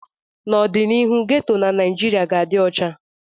N'ọdịnihu, geto na Naijiria ga-adị ọcha